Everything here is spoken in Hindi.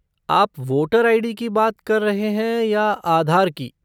आप वोटर आई.डी. की बात कर रहे हैं या आधार की?